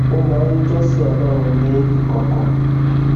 ó máa ń jósìn ọlórun ní ìkòkò